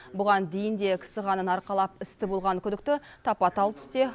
бұған дейін де кісі қанын арқалап істі болған күдікті тапа тал түсте